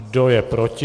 Kdo je proti?